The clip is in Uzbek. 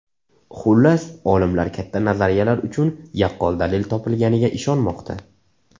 Xullas, olimlar katta nazariyalar uchun yaqqol dalil topilganiga ishonmoqda.